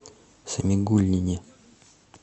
самигуллине